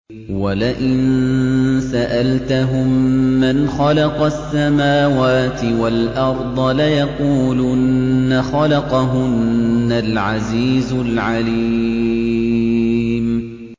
وَلَئِن سَأَلْتَهُم مَّنْ خَلَقَ السَّمَاوَاتِ وَالْأَرْضَ لَيَقُولُنَّ خَلَقَهُنَّ الْعَزِيزُ الْعَلِيمُ